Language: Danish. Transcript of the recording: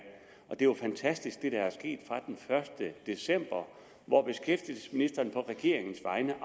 jo fantastisk er sket fra den første december hvor beskæftigelsesministeren på regeringens vegne